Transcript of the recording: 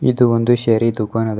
ಇದು ಒಂದು ಶರಿ ದುಖಾನ್ ಅದ.